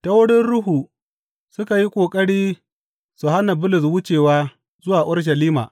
Ta wurin Ruhu, suka yi ƙoƙari su hana Bulus wucewa zuwa Urushalima.